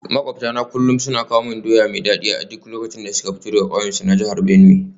Makwabtana kullum suna kawo mana doya mai dadi a duk lokacin da suka fito daga kauyensu na jihar Benue.